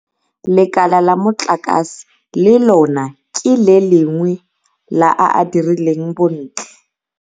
Lekala la motlakase le lona ke le lengwe la a a dirileng bontle.